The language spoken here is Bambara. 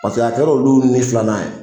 Paseke a kɛra olu ni filanan ye.